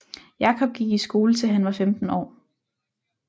Jacob gik i skole til han var 15 år